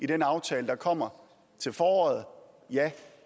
den aftale der kommer til foråret ja